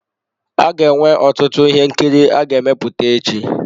A ga-enwe ọtụtụ ihe nkiri a ga-emepụta echi.